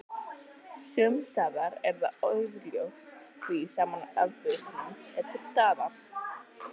Sumsstaðar er það augljóst því sama afbökunin er til staðar.